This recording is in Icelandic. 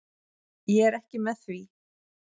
Ég er ekki með því.